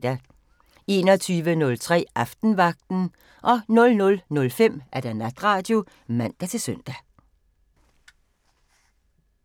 21:03: Aftenvagten 00:05: Natradio (man-søn)